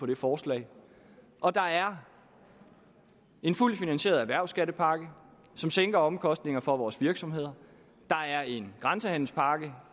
det forslag og der er en fuldt finansieret erhvervsskattepakke som sænker omkostningerne for vores virksomheder der er en grænsehandelspakke